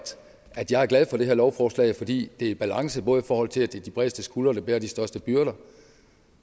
at jeg er glad for det her lovforslag fordi det er i balance både i forhold til at det er de bredeste skuldre der bærer de største byrder